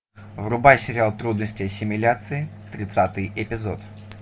врубай сериал трудности ассимиляции тридцатый эпизод